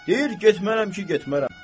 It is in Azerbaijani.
Deyir getmərəm ki, getmərəm.